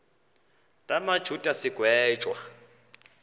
la majuda sigwetywa